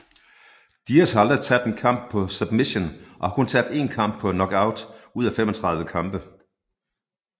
Diaz har aldrig tabt en kamp på submission og har kun tabt 1 kamp på knockout ud af 35 kampe